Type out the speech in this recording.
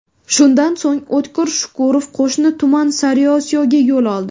Shundan so‘ng, O‘tkir Shukurov qo‘shni tuman Sariosiyoga yo‘l oldi.